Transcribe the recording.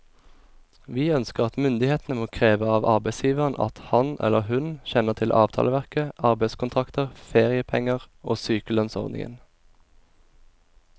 Vi ønsker at myndighetene må kreve av arbeidsgiveren at han eller hun kjenner til avtaleverket, arbeidskontrakter, feriepenger og sykelønnsordningen.